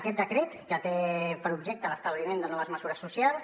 aquest decret que té per objecte l’establiment de noves mesures socials